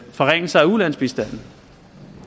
forringelser af ulandsbistanden